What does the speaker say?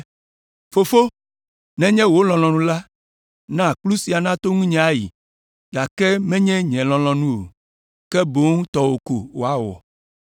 “Fofo, nenye wò lɔlɔ̃nu la, na kplu sia nato nunye ayi, gake menye nye lɔlɔ̃nu o, ke boŋ tɔwò ko woawɔ.”